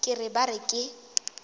ke re ba re ke